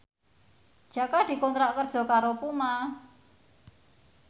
Jaka dikontrak kerja karo Puma